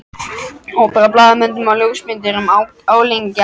Hópur af blaðamönnum og ljósmyndurum álengdar.